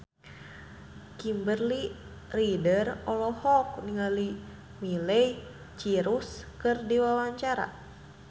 Kimberly Ryder olohok ningali Miley Cyrus keur diwawancara